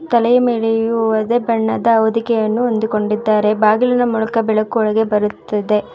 ತಲೆಯ ಮೇಲೆಯು ಇದೆ ಬಣ್ಣದ ಹೊದಿಕೆಯನ್ನು ಹೊಂದಿಕೊಂಡಿದ್ದಾರೆ ಬಾಗಿಲಿನ ಮೂಲಕ ಬೆಳಕು ಒಳಗೆ ಬರುತ್ತದೆ.